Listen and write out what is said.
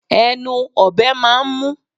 Ẹnu ọ̀bẹ máà ń mú